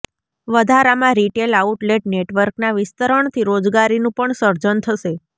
વધારામાં retail outlet નેટવર્કના વિસ્તરણથી રોજગારીનું પણ સર્જન થશે